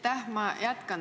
Aitäh!